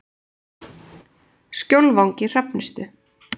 Skjólvangi Hrafnistu